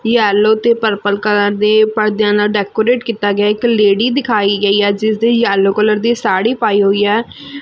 Yellow ਤੇ purple colour ਦੇ ਪਰਦਿਆਂ ਨਾਲ ਡੈਕੋਰੇਟ ਕੀਤਾ ਗਿਆ ਇੱਕ ਲੇਡੀ ਦਿਖਾਈ ਗਈ ਐ ਜਿਸਦੇ ਯੈਲੋ ਕਲਰ ਦੀ ਸਾੜੀ ਪਾਈ ਹੋਈ ਐ।